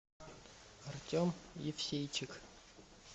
артем евсейчик